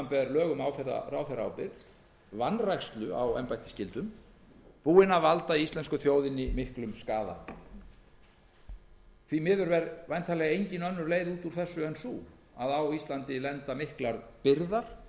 samanber lög um ráðherraábyrgð á embættisskyldum sú vanræksla hefur valdið íslensku þjóðinni miklum skaða því miður er væntanlega engin önnur leið út úr þessu en sú að á íslandi lenda miklar byrðar